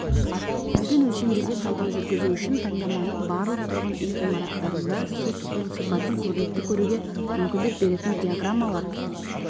жүргізілген өлшемдерге талдау жүргізу үшін таңдаманың барлық тұрғын үй ғимараттарында су тұтыну сипатын көрнекті көруге мүмкіндік беретін диаграммалар